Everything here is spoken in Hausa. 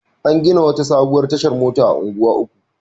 An gina wata sabuwar tashar mota a Unguwa Uku.